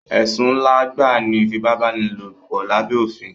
Ẹ̀sùn ńlá gbáà ni ìfipábánilòpọ̀ lábé òfin.